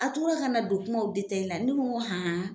A tora ka na don kumaw ne ko an.